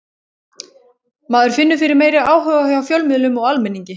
Maður finnur fyrir meiri áhuga hjá fjölmiðlum og almenningi.